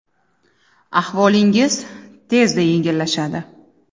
Ahvolingiz tezda yengillashadi.